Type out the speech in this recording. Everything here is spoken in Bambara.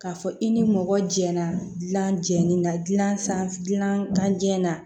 K'a fɔ i ni mɔgɔ jɛra dilan jeni na dilan jɛn na